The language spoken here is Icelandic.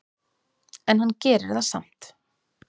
En hann gerir það samt.